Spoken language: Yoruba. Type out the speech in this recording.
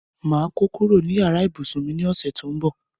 Máa kó kúrò ní yàrá ìbùsùn mi ní ọ̀sẹ̀ tó ń bọ̀.